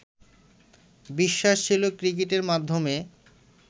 বিশ্বাস ছিলো ক্রিকেটের মাধ্যমে